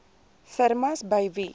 firmas by wie